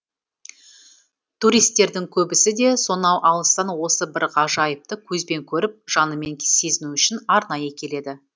туристердің көбісі де сонау алыстан осы бір ғажайыпты көзбен көріп жанымен сезіну үшін арнайы келеді